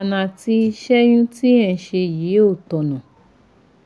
Ìlànà àti ṣẹ́yun tí ẹ ń ṣe yìí ò tọ̀nà